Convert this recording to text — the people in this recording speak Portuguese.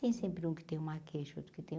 Tem sempre um que tem uma queixa, outro que tem